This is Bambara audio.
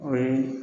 O ye